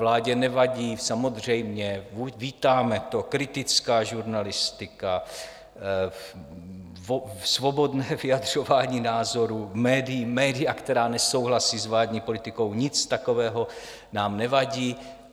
Vládě nevadí -samozřejmě, vítáme to - kritická žurnalistika, svobodné vyjadřování názorů, média, která nesouhlasí s vládní politikou, nic takového nám nevadí.